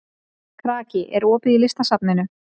Kraki, er opið í Listasafninu?